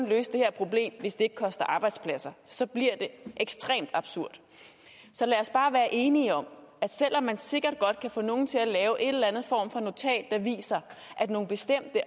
løse det her problem hvis det ikke koster arbejdspladser så bliver det ekstremt absurd så lad os bare være enige om at selv om man sikkert godt kan få nogen til at lave en eller anden form for notat der viser at nogle bestemte